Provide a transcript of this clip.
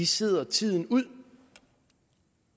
sidder tiden ud